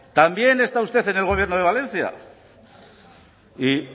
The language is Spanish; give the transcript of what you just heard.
también está usted en el gobierno de valencia y